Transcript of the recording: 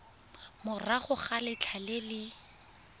morago ga letlha le le